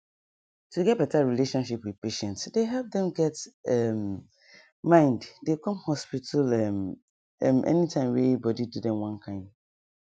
to get better relationship with patients dey help dem get um mind dey come hospital um any time wey body do dem one kind